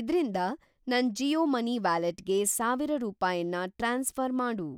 ಇದ್ರಿಂದ ನನ್‌ ಜಿಯೋ ಮನಿ ವ್ಯಾಲೆಟ್‌ಗೆ ಸಾವಿರ ರೂಪಾಯನ್ನ ಟ್ರಾನ್ಸ್‌ಫ಼ರ್‌ ಮಾಡು